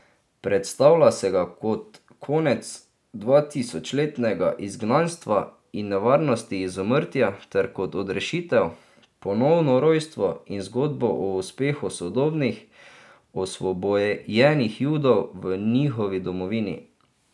Predstavlja se ga kot konec dvatisočletnega izgnanstva in nevarnosti izumrtja ter kot odrešitev, ponovno rojstvo in zgodbo o uspehu sodobnih, osvobojenih Judov v njihovi domovini.